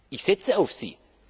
Ich setze auf Sie.